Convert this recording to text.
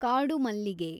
ಕಾಡು ಮಲ್ಲಿಗೆ